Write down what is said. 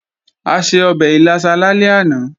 A se ọbẹ̀ ìlàsà lálẹ́ àná